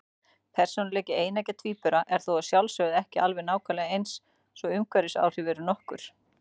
Persónuleiki eineggja tvíbura er þó að sjálfsögðu ekki alveg nákvæmlega eins, svo umhverfisáhrif eru nokkur.